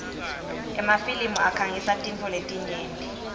emafilimi akhangisa tintfo letinyenti